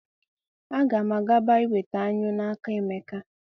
A ga m agaba iweta anyụ n'aka Emeka.